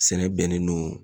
Sɛnɛ bɛnnen don